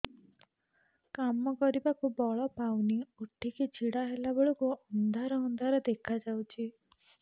କାମ କରିବାକୁ ବଳ ପାଉନି ଉଠିକି ଛିଡା ହେଲା ବେଳକୁ ଅନ୍ଧାର ଅନ୍ଧାର ଦେଖା ଯାଉଛି